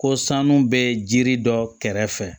Ko sanu bɛ jiri dɔ kɛrɛfɛ